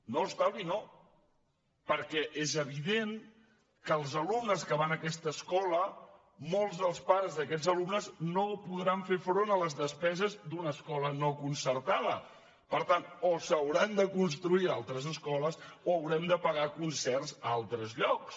no estalvi no perquè és evident que els alumnes que van a aquesta escola molts dels pares d’aquests alumnes no podran fer front a les despeses d’una escola no concertada per tant o s’hauran de construir altres escoles o haurem de pagar concerts a altres llocs